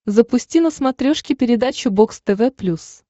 запусти на смотрешке передачу бокс тв плюс